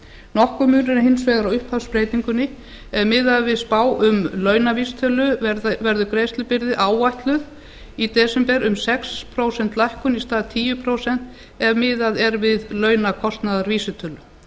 nokkur munur er hins vegar á upphafsbreytingunni ef miðað er við spá um launavísitölu verður greiðslubyrði áætluð í desember um sex prósenta lækkun í stað tíu prósent ef miðað er við launakostnaðarvísitölu